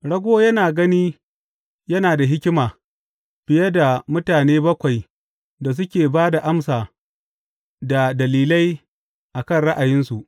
Rago yana gani yana da hikima fiye da mutane bakwai da suke ba da amsa da dalilai a kan ra’ayinsu.